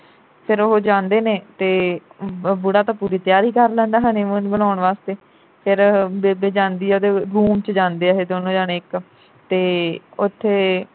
ਫਿਰ ਉਹ ਜਾਂਦੇ ਨੇ ਤੇ ਬੁੜਾ ਤਾਂ ਪੂਰੀ ਤਿਆਰੀ ਕਰ ਲੈਂਦਾ honeymoon ਮਨਾਉਣ ਵਾਸਤੇ। ਫਿਰ ਬੇਬੇ ਜਾਂਦੀ ਐ room ਵਿਚ ਜਾਂਦੇ ਇਹ ਦੋਨੋ ਜਾਣੇ ਇਕ ਤੇ ਉਥੇ